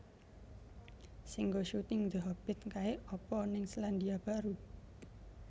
Sing nggo syuting The Hobbit kae apa ning Selandia Baru